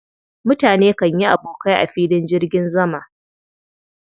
Mutane kan yi abokai a filin jirgin zama.